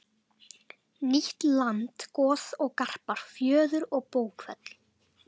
Nýtt land Goð og garpar Fjöður og bókfell